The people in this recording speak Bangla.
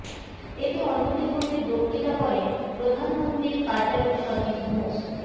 এতে অন্যদের মধ্যে বক্তৃতা করেন প্রধানমন্ত্রীর কার্যালয়ের সচিব মো